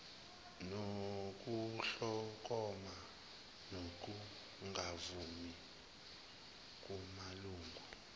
nokuhlokoma kokungavumi kumalungu